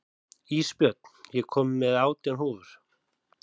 Ísbjörn, ég kom með átján húfur!